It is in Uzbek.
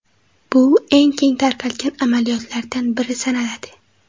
Bu eng keng tarqalgan amaliyotlardan biri sanaladi.